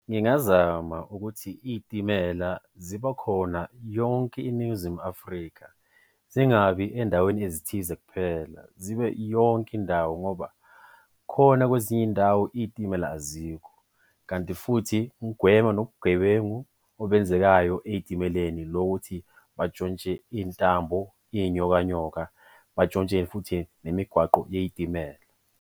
Ngingazama ukuthi iy'timela ziba khona yonke iNingizimu Afrika zingabi endaweni ezithize kuphela, zibe yonke indawo ngoba khona kwezinye iy'ndawo iy'timela azikho. Kanti futhi kugwema nobugebengu obenzekayo ey'timeleni lokuthi batshontshe iy'ntambo, iy'nyokanyoka batshontshe futhi nemigwaqo yey'timela.